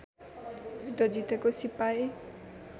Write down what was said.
युद्ध जितेको सिपाही